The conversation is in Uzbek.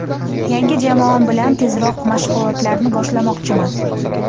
Yangi jamoam bilan tezroq mashg‘ulotlarni boshlamoqchiman.